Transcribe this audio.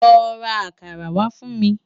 Lò rá àkàrá wá fun mi